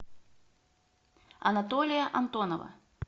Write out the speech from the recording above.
анатолия антонова